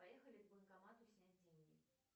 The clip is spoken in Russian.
поехали к банкомату снять деньги